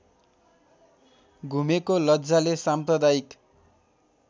घुमेको लज्जाले साम्प्रदायिक